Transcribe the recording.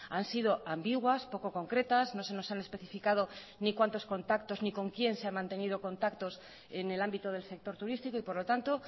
han sido ambiguas poco concretas no se nos han especificado ni cuántos contactos ni con quién se ha mantenido contactos en el ámbito del sector turístico y por lo tanto